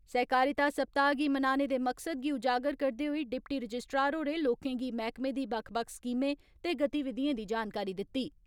सहकारिता सप्ताह गी मनाने दे मकसद गी उजागर करदे होई डिप्टी रजिस्ट्रार होरें लोकें गी मैहकमे दी बक्ख बक्ख स्कीमें ते गतिविधिएं दी जानकारी दित्ती।